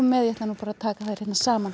ég ætla að taka þær saman